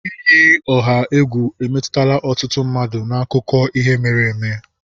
Iyi ọha egwu emetụtala ọtụtụ mmadụ n'akụkọ ihe mere eme